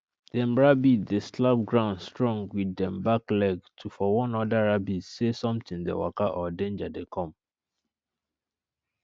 dem rabbit dey slap ground strong with dem back leg to for warn oda rabbit se somtin dey waka or denja dey com